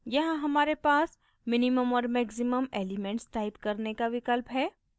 यहाँ हमारे पास minimum और maximum elements type करने का विकल्प है